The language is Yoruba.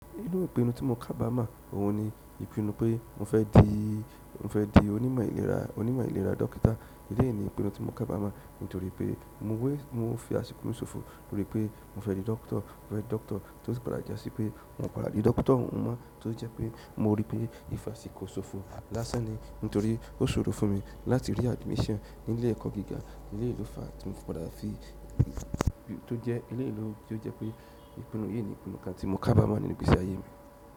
Inú ìpinnu tí mo kábàá mọ̀, òhun ni, ìpinnu pé mo fẹ́ di, mo fẹ́ di onímọ̀ ìlera, onímọ̀ ìlera dókítà. Èleyí ni ìpinnu tí mo kábàá mọ̀, nítorí pé mo wé, mo fi àsìkò ṣòfò lórí pé mo fẹ́ di dókítà, mo fẹ́ di dókítà tó ti padà jásí pé mo padà di dókítà mọ́, tó jẹ́ pé mo rí pé ìfásikò ṣòfò dáṣẹ́ ni, nítorí ó ṣòro fún mi láti rí admission nílé ẹ̀kọ́ gíga nílé ìlú fa tí mo padà fi, tó jẹ́ ilé ìlú tí ó jẹ́ pé ìpinnu yìí ni ìpinnu kan tí mo kábàá mọ̀ nínú ìgbésí ayé mi.